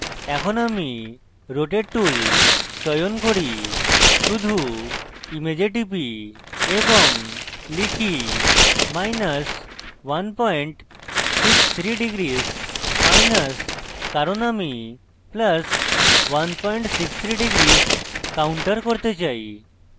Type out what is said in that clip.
এখন আমি rotate tool চয়ন করি শুধু image type এবং type163° মাইনাস কারণ আমি plus 163° counter করতে চাই